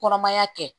Kɔnɔmaya kɛ